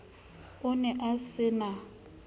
o ne a se na